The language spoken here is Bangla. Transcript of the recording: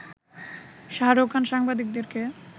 শাহরুখ খান সাংবাদিকদেরকে